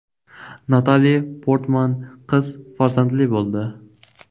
Natali Portman qiz farzandli bo‘ldi.